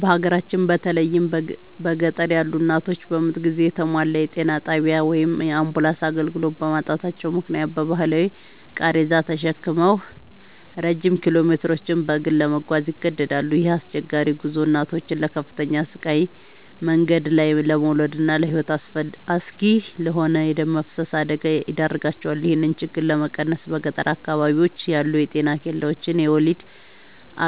በሀገራችን በተለይም በገጠር ያሉ እናቶች በምጥ ጊዜ የተሟላ የጤና ጣቢያ ወይም የአምቡላንስ አገልግሎት በማጣታቸው ምክንያት በባህላዊ ቃሬዛ ተሸክመው ረጅም ኪሎሜትሮችን በእግር ለመጓዝ ይገደዳሉ። ይህ አስቸጋሪ ጉዞ እናቶችን ለከፍተኛ ስቃይ፣ መንገድ ላይ ለመውለድና ለሕይወት አስጊ ለሆነ የደም መፍሰስ አደጋ ይዳርጋቸዋል። ይህንን ችግር ለመቀነስ በገጠር አካባቢዎች ያሉ የጤና ኬላዎችን የወሊድ